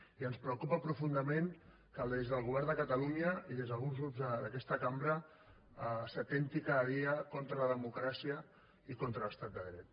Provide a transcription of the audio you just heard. i ens preocupa profundament que des del govern de catalunya i des d’alguns grups d’aquesta cambra s’atempti cada dia contra la democràcia i contra l’estat de dret